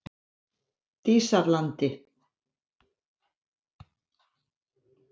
Dísarlandi